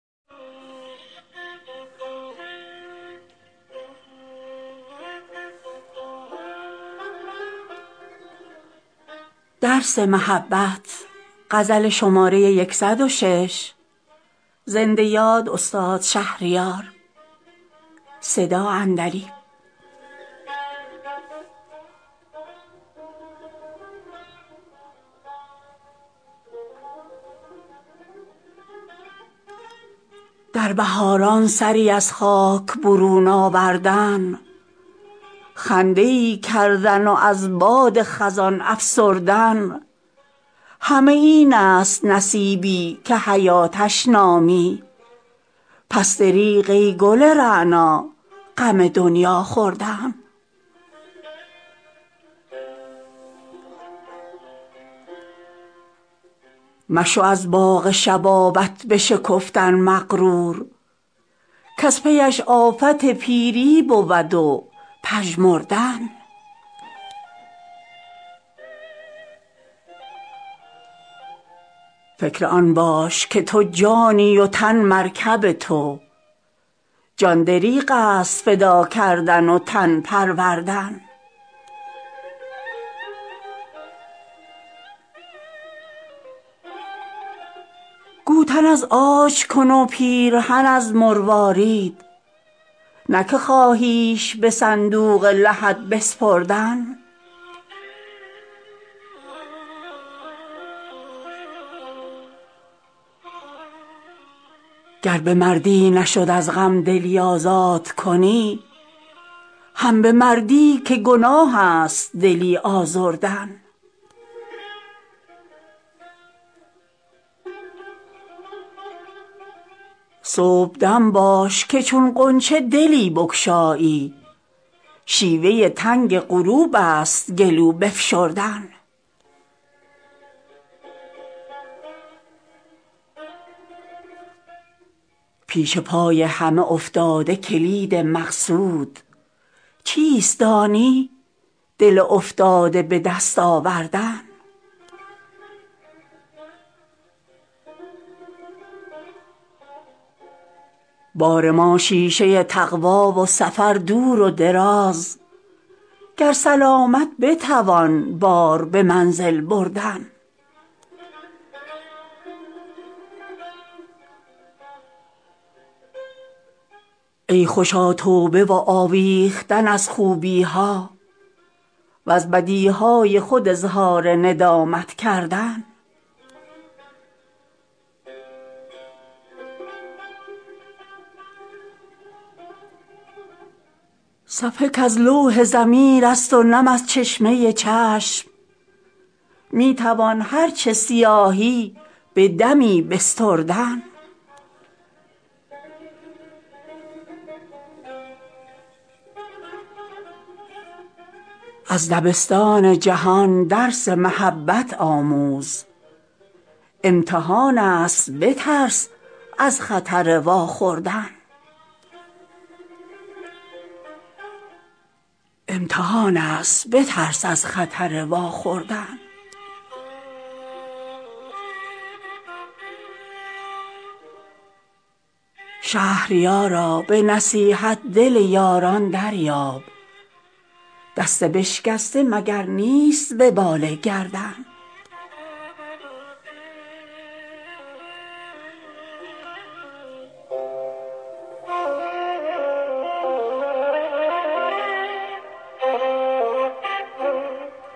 در بهاران سری از خاک برون آوردن خنده ای کردن و از باد خزان افسردن همه این است نصیبی که حیاتش نامی پس دریغ ای گل رعنا غم دنیا خوردن مشو از باغ شبابت بشکفتن مغرور کز پیش آفت پیری بود و پژمردن فکر آن باش که تو جانی وتن مرکب تو جان دریغست فدا کردن و تن پروردن گوتن از عاج کن و پیرهن از مروارید نه که خواهیش به صندوق لحد بسپردن مردن اجبار خدایی ست ولی مردان را اختیار از هوسک های جهانی مردن گر به مردی نشد از غم دلی آزاد کنی هم به مردی که گناه است دلی آزردن صبحدم باش که چون غنچه دلی بگشایی شیوه تنگ غروبست گلو بفشردن پیش پای همه افتاده کلید مقصود چیست دانی دل افتاده به دست آوردن بار ما شیشه تقوا و سفر دور و دراز گر سلامت بتوان بار به منزل بردن مکتب دین نه کم از کالج آمریکایی ست یاد کن روح مسیحایی مستر ژردن ای خوشا توبه و آویختن از خوبی ها و ز بدیهای خود اظهار ندامت کردن صفحه کز لوح ضمیر است و نم از چشمه چشم می توان هر چه سیاهی به دمی بستردن از دبستان جهان درس محبت آموز امتحان است بترس از خطر واخوردن شهریارا به نصیحت دل یاران دریاب دست بشکسته مگر نیست وبال گردن